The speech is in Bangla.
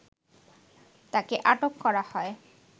তাকে আটক করা হয়